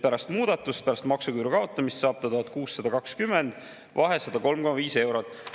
Pärast muudatust, pärast maksuküüru kaotamist saab ta 1620, vahe on 103,5 eurot.